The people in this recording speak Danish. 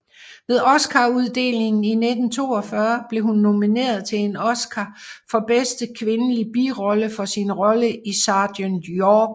Ved Oscaruddelingen i 1942 blev hun nomineret til en Oscar for bedste kvindelige birolle for sin rolle i Sergent York